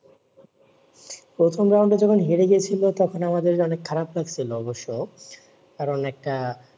প্রথমে round যখন হেরে গিয়েছিলো তখন আমাদের মানে অনেক খারাপ লাগছিলো অবশ্য কারণ একটা